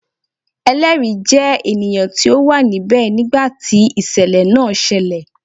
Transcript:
Ẹlẹri jẹ ènìyàn ti o wa níbẹ nigba ti isẹlẹ náà ṣẹlẹ